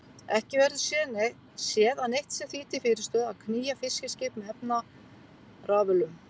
Ekki verður séð að neitt sé því til fyrirstöðu að knýja fiskiskip með efnarafölum.